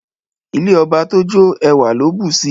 Ilé ọba tójó ẹwà ló bùsi